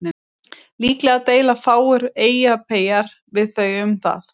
Líklega deila fáir Eyjapeyjar við þau um það.